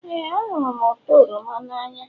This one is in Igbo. Éè, ahụrụ m ụtọ oroma n'anya